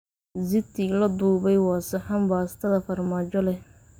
Ziti la dubay waa saxan baastada farmaajo leh.